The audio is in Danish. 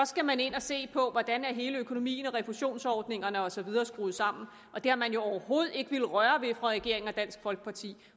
skal man ind og se på hvordan hele økonomien og refusionsordningerne og så videre er skruet sammen og det har man jo overhovedet ikke villet røre ved fra regeringen og dansk folkepartis